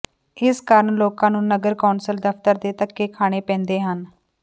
ਇਸ ਕਾਰਨ ਲੋਕਾਂ ਨੂੰ ਨਗਰ ਕੌਂਸਲ ਦਫਤਰ ਦੇ ਧੱਕੇ ਖਾਣੇ ਪੈਂਦੇ ਹਨ